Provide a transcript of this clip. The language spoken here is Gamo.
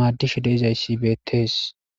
maaddishe deizayssi beettees